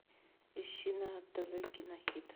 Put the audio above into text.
ищи на тв кино хит